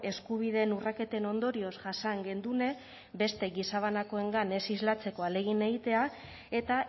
eskubideen urraketen ondorioz jasan gendune beste gizabanakoengan ez islatzeko ahalegin egitea eta